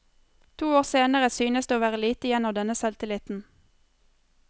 To år senere synes det å være lite igjen av denne selvtilliten.